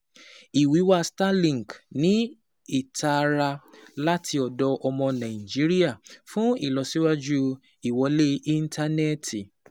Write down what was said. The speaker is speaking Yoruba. Ìwíwá Starlink ní ìtara láti ọ̀dọ̀ ọmọ Nàìjíríà fún ìlọsíwájú ìwọlé ìntánẹ́ẹ̀tì.